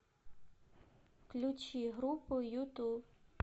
включи группу юту